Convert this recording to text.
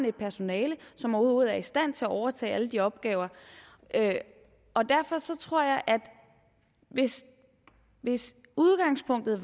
et personale som overhovedet er i stand til at overtage alle de opgaver og derfor tror jeg at hvis hvis udgangspunktet